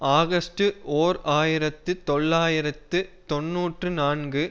August ஓர் ஆயிரத்து தொள்ளாயிரத்து தொன்னூற்றி நான்கு